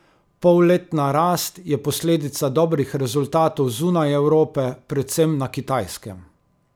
Polletna rast je posledica dobrih rezultatov zunaj Evrope, predvsem na Kitajskem.